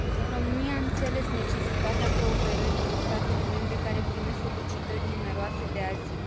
România a înțeles necesitatea cooperării cu statele membre care primesc solicitări numeroase de azil.